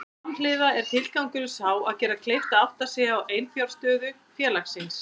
Samhliða er tilgangurinn sá að gera kleift að átta sig á eiginfjárstöðu félagsins.